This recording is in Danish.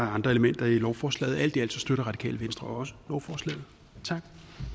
andre elementer i lovforslaget og alt i alt støtter radikale venstre også lovforslaget tak